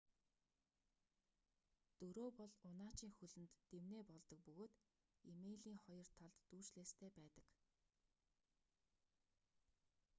дөрөө бол унаачийн хөлөнд дэмнээ болдог бөгөөд эмээлийн хоёр талд дүүжлээстэй байдаг